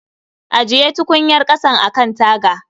Ajiye tukunyar ƙasan a kan taga